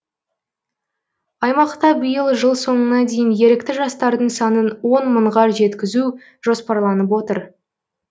аймақта биыл жыл соңына дейін ерікті жастардың санын он мыңға жеткізу жоспарланып отыр